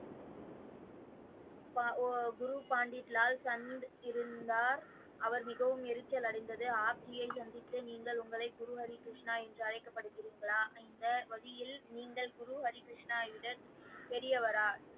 குரு பாண்டித்துளால் சாமி இருந்தார் அவர் மிகவும் எரிச்சல் அடைந்தது ஆப்ஜியை சந்தித்து நீங்கள் உங்களை குரு ஹரிகிருஷ்ணா என்று அழைக்கப்படுகிறீர்களா இந்த வழியில் நீங்கள் குரு ஹரிகிருஷ்ணா விட பெரியவரா.